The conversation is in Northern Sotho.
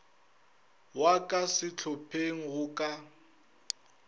wa ka sehlopheng go ka